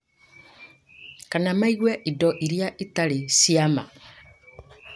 kana maigue indo iria itarĩ cia ma.